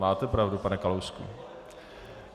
Máte pravdu, pane Kalousku.